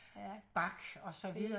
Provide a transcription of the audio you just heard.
Bach og så videre